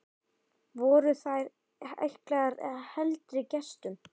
Voru þær ætlaðar heldri gestum.